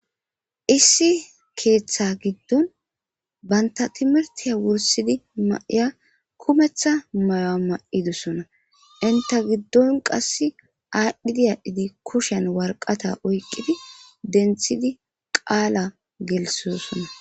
Issi keeththa giddon baynta timirtiya wursidi maiya kumeththa mayoama'idosona inta giddon qass aadhdhidi aaddhidi kushen warqata oyqqidi denthidi qaala gelisiosona